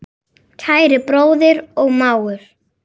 Kæri bróðir og mágur.